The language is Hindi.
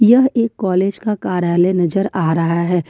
यह एक कॉलेज का कार्यालय नजर आ रहा है।